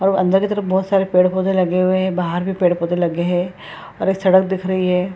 और अंदर की तरफ बोहोत सारे पेड़-पौधे लगे हुए है बहार भी पैड-पौधे लगे है और एक सड़क दिख रही है।